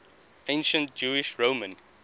ancient jewish roman